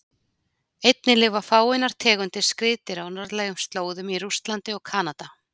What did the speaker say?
Einnig lifa fáeinar tegundir skriðdýra á norðlægum slóðum í Rússlandi og Kanada.